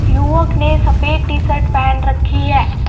युवक ने सफेद टी-शर्ट पहन रखी है.